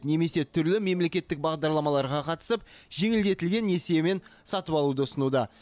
немесе түрлі мемлекеттік бағдарламаларға қатысып жеңілдетілген несиемен сатып алуды ұсынуда